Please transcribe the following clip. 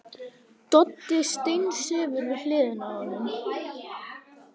Doddi steinsefur við hliðina á honum.